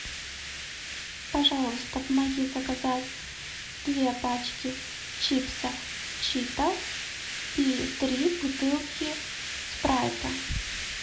пожалуйста помоги заказать две пачки чипсов читос и три бутылки спрайта